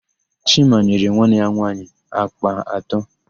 Chima nyere nwanne ya nwaanyị àkpà atọ.